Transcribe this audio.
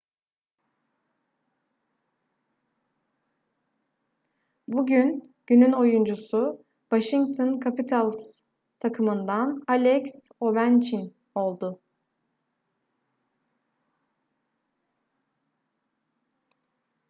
bugün günün oyuncusu washington capitals takımından alex ovechkin oldu